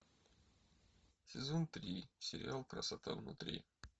сезон три сериал красота внутри